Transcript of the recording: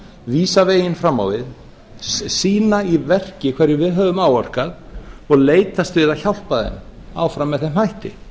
vísa veginn fram á við sýna í verki hverju við höfum áorkað og leitast við að hjálpa þeim áfram með þeim hætti